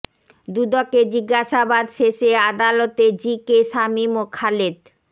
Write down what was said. দুদকে জিজ্ঞাসাবাদ শেষে আদালতে জি কে শামীম ও খালেদ